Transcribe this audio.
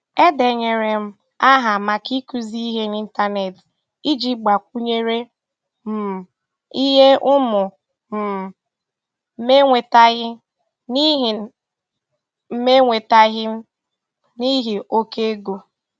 E denyere m aha maka ịkụzi ihe n'Ịntanet iji gbakwunyere um ihe ụmụ um m enwetaghị n'ihi m enwetaghị n'ihi oke ego.